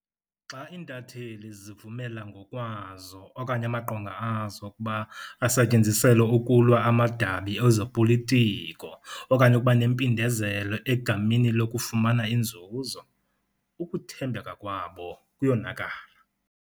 Xa iintatheli zivumela ngokwazo okanye amaqonga azo ukuba asetyenziselwe ukulwa amadabi ezopolitiko okanye ukuba nempindezelo egameni lokufumana inzuzo, ukuthembeka kwabo kuyonakala.